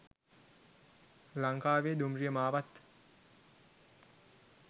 ලංකාවේ දුම්රිය මාවත්